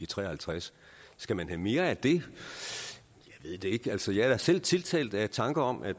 tre og halvtreds skal man have mere af det jeg ved det ikke altså jeg er da selv tiltalt af tanken om at